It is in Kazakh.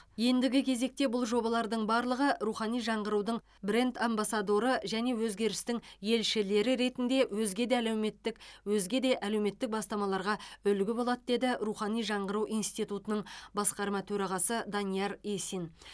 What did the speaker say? ендігі кезекте бұл жобалардың барлығы рухани жаңғырудың бренд амбасадоры және өзгерістің елшілері ретінде өзге де әлеуметтік өзге де әлеуметтік бастамаларға үлгі болады деді рухани жаңғыру институтының басқарма төрағасы данияр есин